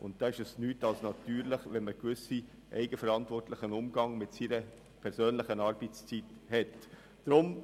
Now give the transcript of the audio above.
Dann ist es nichts als natürlich, dass man einen eigenverantwortlichen Umgang mit der persönlichen Arbeitszeit pflegt.